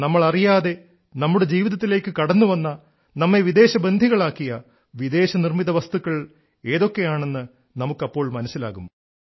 നമ്മൾ അറിയാതെ നമ്മുടെ ജീവിതത്തിലേക്കു കടന്നുവന്ന നമ്മെ വിദേശ ബന്ധികളാക്കിയ വിദേശ നിർമ്മിത വസ്തുക്കൾ ഏതൊക്കെയാണെന്ന് നമുക്കപ്പോൾ മനസ്സിലാകും